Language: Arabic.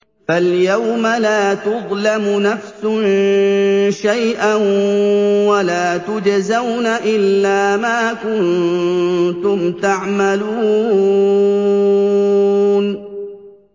فَالْيَوْمَ لَا تُظْلَمُ نَفْسٌ شَيْئًا وَلَا تُجْزَوْنَ إِلَّا مَا كُنتُمْ تَعْمَلُونَ